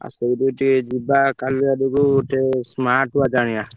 ଆଉ ସେଇଠିକୁ ଟିକେ ଯିବା କାଲି ଆଡକୁ ଗୋଟେ smartwatch ଆଣିବା।